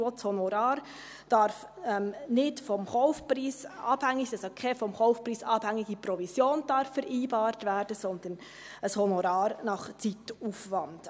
Auch das Honorar darf nicht vom Kaufpreis abhängig sein, es darf also keine vom Kaufpreis abhängige Provision vereinbart werden, sondern ein Honorar nach Zeitaufwand;